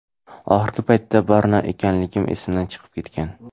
Oxirgi paytda Barno ekanligim esimdan chiqib ketgan.